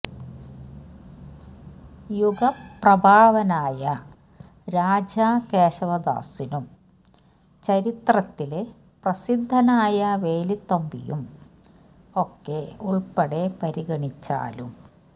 യുഗപ്രഭാവനായ രാജാ കേശവദാസനും ചരിത്രത്തില് പ്രസിദ്ധനായ വേലുത്തമ്പിയും ഒക്കെ ഉള്പ്പെടെ പരിഗണിച്ചാലും